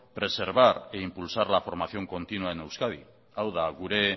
preservar e impulsar la formación continua en euskadi hau da gure